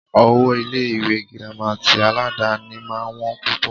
Owó Ilé ìwé gírámà tí aládàni máà ń wọ́n púpọ̀.